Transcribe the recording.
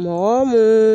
Mɔgɔ mun